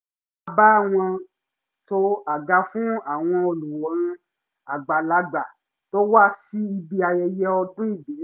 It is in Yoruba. a bá wọn to àga fún àwọn olùwòran àgbàlagbà to wá sí ibi ayẹyẹ ọdún ìbílẹ̀